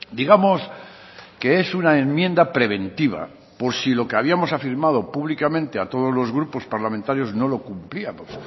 digamos que es una enmienda preventiva por si lo que habíamos afirmado públicamente a todos los grupos parlamentarios no lo cumplíamos